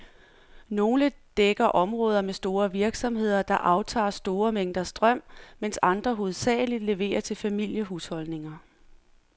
Nogle dækker områder med store virksomheder, der aftager store mængder strøm, mens andre hovedsageligt leverer til familiehusholdninger.